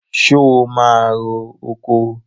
So máa ro oko?